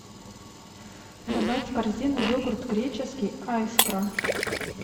добавь в корзину йогурт греческий айскро